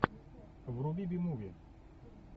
вруби би муви